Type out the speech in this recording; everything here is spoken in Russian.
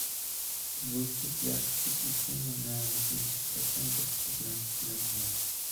выставь яркость освещения на восемьдесят процентов в пятнадцать ноль ноль